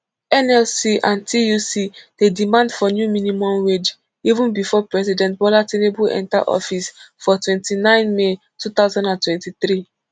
nlc and tuc dey demand for new minimum wage even bifor president bola tinubu enta office for twenty-nine may two thousand and twenty-three